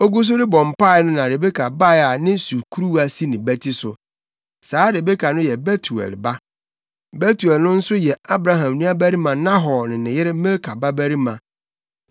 Ogu so rebɔ mpae no na Rebeka bae a ne sukuruwa si ne bati so. Saa Rebeka no yɛ Betuel ba. Betuel no nso yɛ Abraham nuabarima Nahor ne ne yere Milka babarima.